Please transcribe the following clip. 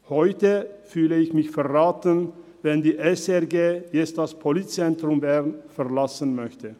Heute fühle ich mich verraten, wenn die SRG das Politzentrum Bern verlassen möchte.